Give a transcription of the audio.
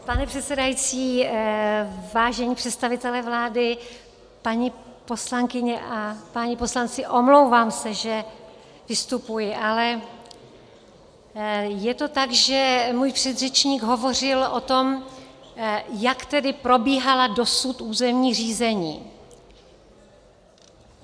Pane předsedající, vážení představitelé vlády, paní poslankyně a páni poslanci, omlouvám se, že vystupuji, ale je to tak, že můj předřečník hovořil o tom, jak tedy probíhala dosud územní řízení.